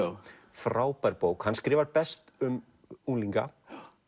frábær bók hann skrifar best um unglinga